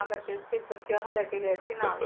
ਤਾਂ ਕਰਕੇ ਉੱਥੇ ਬੱਚਿਆਂ ਨੂੰ ਲੈ ਕੇ ਗਏ ਸੀ ਨਾਲ।